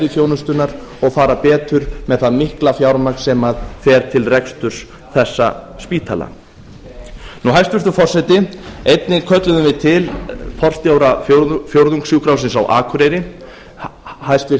þjónustunnar og fara betur með það mikla fjármagn sem fer til reksturs þessa spítala hæstvirtur forseti einnig kölluðum við til forstjóra fjórðungssjúkrahússins á akureyri hæstvirt